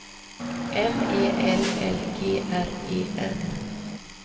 M E L L G R E N